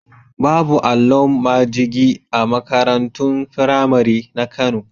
Babu allon majigi a makarantun firamari na Kano.